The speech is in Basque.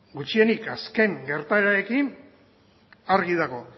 gutxienez azken gertaerarekin argi dago